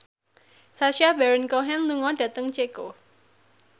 Sacha Baron Cohen lunga dhateng Ceko